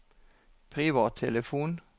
privattelefon